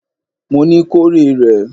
Mo ní, kó rè rẹ̀!